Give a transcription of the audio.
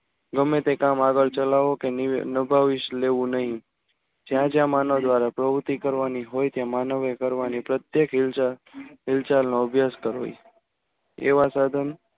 ગમે તે કામ આગળ ચલાવો કે નભાવીશ લેવું નહીં જ્યાં જ્યાં માનવ દ્વારા પ્રવૃત્તિ કરવાની હોય તે માનવ એ કરવાની પ્રત્યક્ષ હિલ હિલચાર એવા સાધન